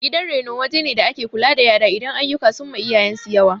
Gidan reno wajene da ake kula da yara idan aiyuka sunma iyayensu yawa